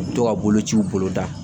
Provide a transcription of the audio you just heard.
To ka bolociw bolo da